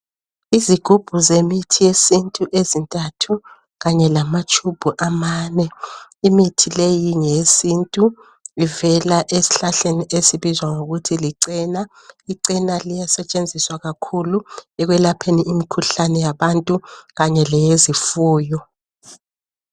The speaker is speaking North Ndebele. Izigubhu zemithi yesintu ezintathu kanye lamatshubhu amane ,imithi leyi ngeyesintu ivela esihlahleni esibizwa ngokuthi licena ,icena liyasetshenziswa kakhulu ekwelapheni imikhuhlane yabantu kanye leyezifuyo.